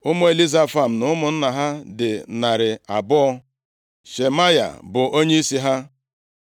Ụmụ Elizafan na ụmụnna ha dị narị abụọ (200). Shemaya bụ onyeisi ha.